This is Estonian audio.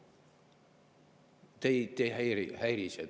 " Teid ei häiri see?